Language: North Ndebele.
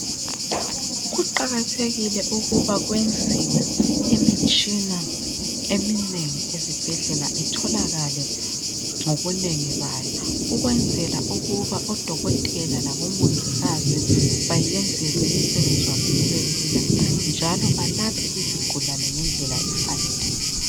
Kuqakathekile ukuba kwenziwe imitshina eminengi esibhedlela itholakale ngobunengi bayo . Ukwenzela ukuba odokotela labomongikazi bayenzelwe umsebenzi wabo ubelula .Njalo balaphe izigulane ngendlela efaneleyo.